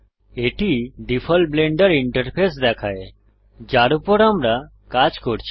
এটি default Blender interface দেখায় যার উপর আমরা কাজ করছি